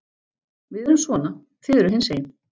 Við erum svona, þið eruð hinsegin.